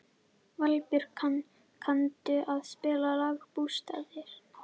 Valbjörk, kanntu að spila lagið „Bústaðir“?